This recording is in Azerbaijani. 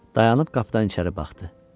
Dayanıb qapıdan içəri baxdı.